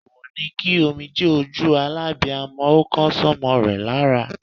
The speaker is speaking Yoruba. Èwọ̀ ni kí omijé ojú alábiamo ó kan sómo rè lára